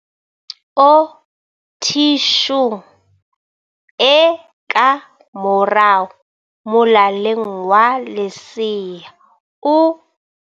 O thi shung e ka morao molaleng wa lesea o.